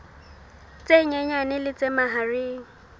tse nyenyane le tse mahareng